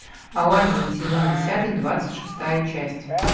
алладин сезон десятый двадцать шестая часть